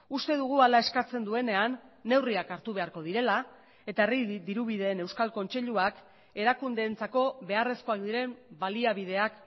uste dugu hala eskatzen duenean neurriak hartu beharko direla eta herri dirubideen euskal kontseiluak erakundeentzako beharrezkoak diren baliabideak